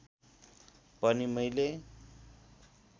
पनि मैले